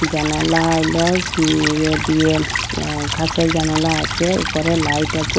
জানালা ইলা উম ইয়ে দিয়ে আঃ কাঁচের জানালা আছে উপরে লাইট আছে।